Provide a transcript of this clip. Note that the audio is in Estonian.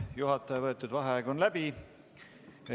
Juhataja võetud vaheaeg on läbi.